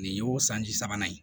Nin y'o sanji sabanan ye